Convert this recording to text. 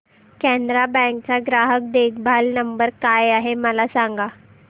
Canara bank चा ग्राहक देखभाल नंबर काय आहे मला सांगा